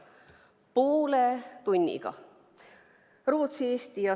Poole tunniga!